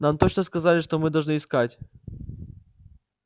нам точно сказали что мы должны искать